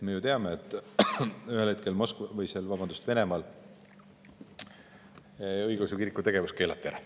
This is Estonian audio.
Me ju teame, et ühel hetkel Venemaal õigeusu kiriku tegevus keelati ära.